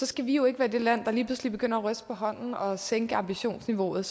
skal vi jo ikke være det land der lige pludselig begynder at ryste på hånden og sænke ambitionsniveauet